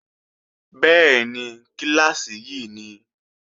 Bẹ́ẹ̀ni, kíláàsì yí ni